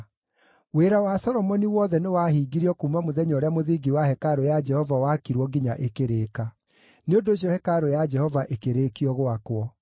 Wĩra wa Solomoni wothe nĩwahingirio kuuma mũthenya ũrĩa mũthingi wa hekarũ ya Jehova wakirwo nginya ĩkĩrĩka. Nĩ ũndũ ũcio hekarũ ya Jehova ĩkĩrĩkio gwakwo.